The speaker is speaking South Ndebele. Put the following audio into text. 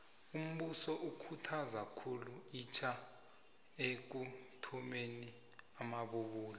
umbuso ukhuthaza khulu itja ekuthomeni amabubulo